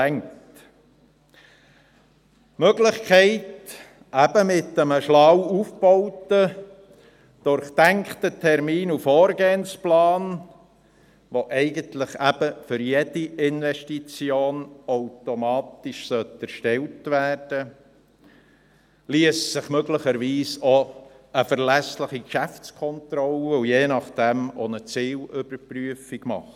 Mit der Möglichkeit eines schlau aufgebauten, durchdachten Termin- und Vorgehensplans, der mit jeder Investition automatisch erstellt werden müsste, liesse sich möglicherweise auch eine verlässliche Geschäftskontrolle und je nach dem auch eine Zielüberprüfung machen.